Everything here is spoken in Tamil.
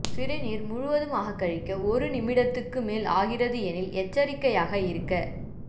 சிறுநீர் முழுவதுமாக கழிக்க ஒரு நிமிடத்துக்கு மேல் ஆகிறது எனில் எச்சரிக்கையாக இருக்க